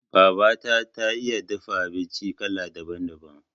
Babata ta iya dafa abinci kala daban- daban.